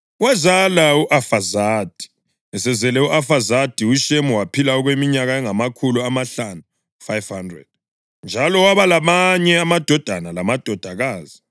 Esezele u-Afazadi, uShemu waphila okweminyaka engamakhulu amahlanu (500), njalo waba lamanye amadodana lamadodakazi.